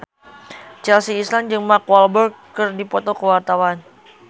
Chelsea Islan jeung Mark Walberg keur dipoto ku wartawan